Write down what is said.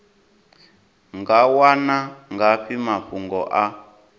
nga wana ngafhi mafhungo a